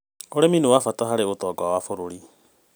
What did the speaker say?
ũrĩmi nĩ wa bata harĩ ũtonga wa bũrũri.